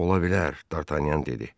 Ola bilər, Dartanyan dedi.